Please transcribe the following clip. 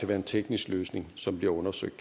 være en teknisk løsning som bliver undersøgt